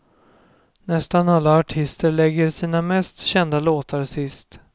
Nästan alla artister lägger sina mest kända låtar sist.